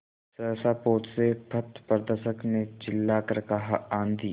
सहसा पोत से पथप्रदर्शक ने चिल्लाकर कहा आँधी